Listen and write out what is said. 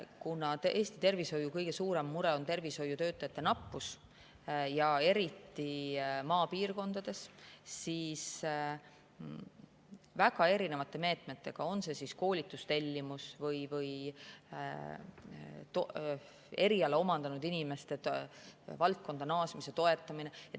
Kuna Eesti tervishoiu kõige suurem mure on tervishoiutöötajate nappus ja eriti maapiirkondades, siis on siin väga erinevaid meetmeid, on see koolitustellimus või eriala omandanud inimeste valdkonda naasmise toetamine.